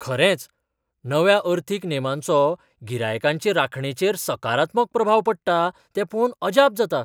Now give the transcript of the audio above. खरेंच, नव्या अर्थीक नेमांचो गिरायकांचे राखणेचेर सकारात्मक प्रभाव पडटा तें पळोवन अजाप जाता.